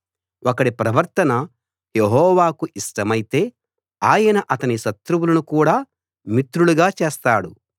ఒకడి ప్రవర్తన యెహోవాకు ఇష్టమైతే ఆయన అతని శత్రువులను కూడా మిత్రులుగా చేస్తాడు